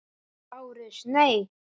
LÁRUS: Nei!